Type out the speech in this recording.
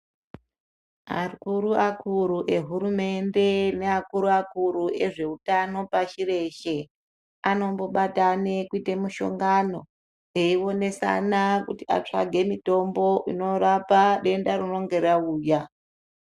Akuru akuru ehurumende neakuru akuru ezveutano pashi reshe anombobatane kuite mushongano eionesana kuti atsvage mitombo inorapa denda rinonga rauya.